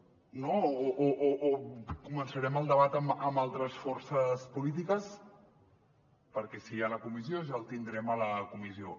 no o començarem el debat amb altres forces polítiques perquè si hi ha la comissió ja el tindrem a la comissió